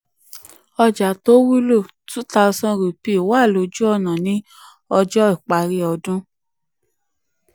ọjà tó wúlò: two thousand wà lójú ọ̀nà ní ọjọ́ parí ọdún.